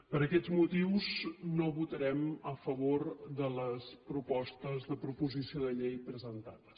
per aquests motius no votarem a favor de les propostes de proposició de llei presentades